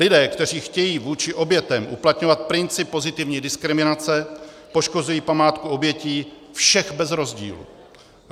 Lidé, kteří chtějí vůči obětem uplatňovat princip pozitivní diskriminace, poškozují památku obětí všech bez rozdílu.